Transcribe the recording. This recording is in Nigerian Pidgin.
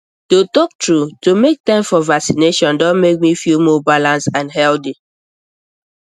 to talk true to make time for vaccination don make me feel more balanced and healthy